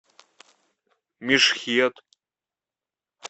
мешхед